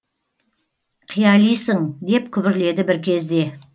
қиялисың деп күбірледі бір кезде